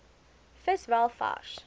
vis wel vars